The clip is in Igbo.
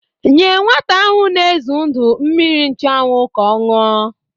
Nye nwata ahụ n'ezu ndu mmiri nchụanwụ ka ọ ñụa!